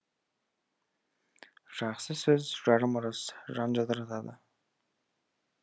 жақсы сөз жарым ырыс жан жадыратады